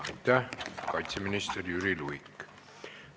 Aitäh, kaitseminister Jüri Luik!